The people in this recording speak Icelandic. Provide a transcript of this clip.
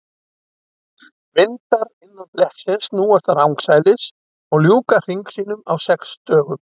Vindar innan blettsins snúast rangsælis og ljúka hring sínum á sex dögum.